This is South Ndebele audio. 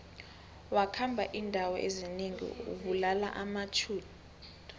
wakhamba indawo ezinengi abulala amajuda